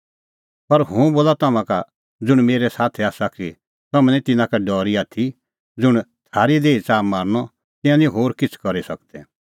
पर हुंह बोला तम्हां का ज़ुंण मेरै साथी आसा कि तम्हैं निं तिन्नां का डरी आथी ज़ुंण थारी देही च़ाहा मारनअ तिंयां निं होर किछ़ करी सकदै